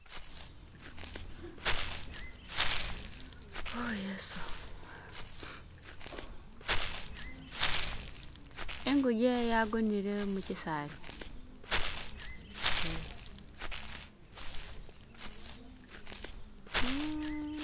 Oh Yesu inguje yagonele mukyisaali eeh